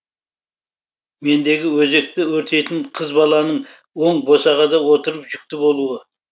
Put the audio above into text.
мендегі өзекті өртейтін қыз баланың оң босағада отырып жүкті болуы